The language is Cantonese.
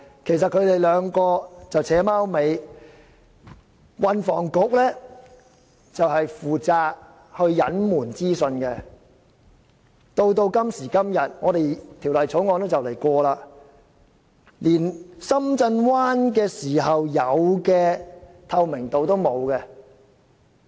其實這兩個部門是在"扯貓尾"，運房局負責隱瞞資訊，到了今天，《廣深港高鐵條例草案》快要通過了，連當年處理深圳灣口岸時有的透明度也欠奉。